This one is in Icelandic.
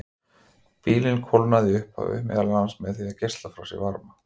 Bíllinn kólnaði í upphafi meðal annars með því að geisla frá sér varma.